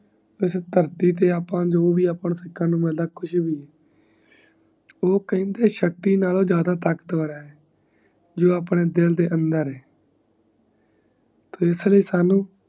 ਇਸ ਧਰਤੀ ਤੇ ਅੱਪਾ ਨੂੰ ਜੋ ਭੀ ਅੱਪਾ ਨੂੰ ਸਿਖਾਂ ਨੂੰ ਮਿਲਦਾ ਕੁਛ ਭੀ ਉਹ ਕਹਿੰਦੀ ਏਹ ਸ਼ਕਤੀ ਨਾਲੋਂ ਜ਼ਿਆ ਦਾਤਾਕਤਵਰ ਹੈ ਜੋ ਆਪਣੇ ਦਿਲ ਦੇ ਅੰਦਰ ਹੈ ਤੀਸਰੇ ਸਾਨੂ